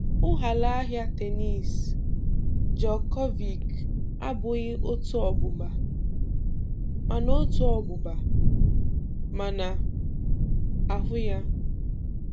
Ụghalaahịa tennis Djokovic abụghị otu ọgbụgba, màṇa otu ọgbụgba, màṇa ahụ ya.